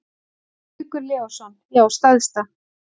Haukur Leósson: Já stærsta.